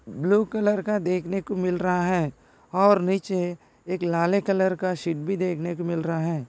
Blue colour का देखने को मिल रहा है। और नीचे एक लाले कलर का शीट भी देखने को मिल रहा है।